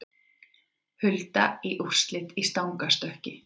Hulda í úrslit í stangarstökki